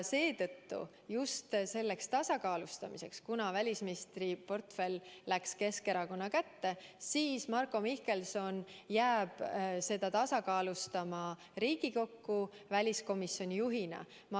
Seetõttu, kuna välisministriportfell läks Keskerakonna kätte, jääb Marko Mihkelson Riigikokku seda väliskomisjoni juhina tasakaalustama.